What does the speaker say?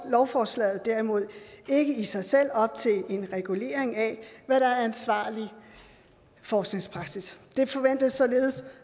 lovforslaget derimod ikke i sig selv op til en regulering af hvad der er ansvarlig forskningspraksis det forventes således